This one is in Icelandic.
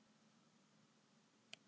Þórunn Helga lék á sínum tíma í Brasilíu.